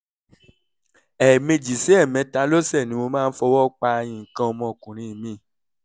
ẹ̀ẹ̀mejì sí ẹ̀ẹ̀mẹta lọ́sẹ̀ ni mo máa ń fi ọwọ́ pa nǹkan ọmọkùnrin mi